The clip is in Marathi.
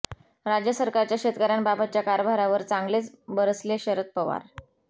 राज्य सरकारच्या शेतकऱ्यांबाबतच्या कारभारावर चांगलेच बरसले शरद पवार